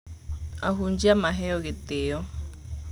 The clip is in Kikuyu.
Ahunjia maheo gĩtĩo.